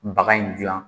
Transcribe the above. Baga in dilan